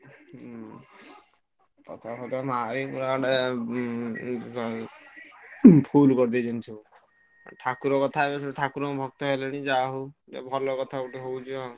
ହୁଁ ପତାକା ଫତାକା ମାରିକି ପୁରା ଗୋଟେ ଉଁ full କରିଦେଇଛନ୍ତି ସବୁ। ଠାକୁର କଥା ଏବେ ସବୁ ଠାକୁରଙ୍କ ଭକ୍ତ ହେଲେଣି ଯାହା ହଉ ଭଲ କଥା ଗୋଟେ ହଉଛି ଆଉ।